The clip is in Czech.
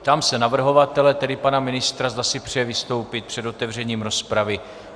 Ptám se navrhovatele, tedy pana ministra, zda si přeje vystoupit před otevřením rozpravy.